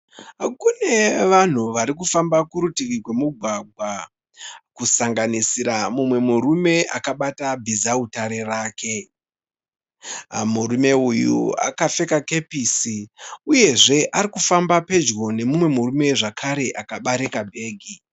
Kune vanhu vari kufamba kurutivi rwemugwagwa kusanganira mumwe murume akabata bhizautare rake. Murume uyu akapfeka kepisi uyezve ari kufamba pedyo nemumwe murume zvakare akabereka bhegi.